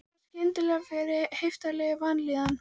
Ég fann skyndilega fyrir heiftarlegri vanlíðan.